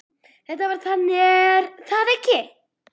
Þetta var þannig, er það ekki?